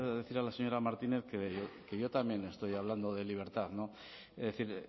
decirle a la señora martínez que yo también estoy hablando de libertad es decir